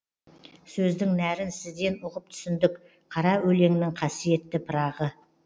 сөздін нәрін сізден ұғып түсіндік қара өлеңнің қасиетті пырағы